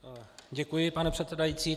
Děkuji, pane předsedající.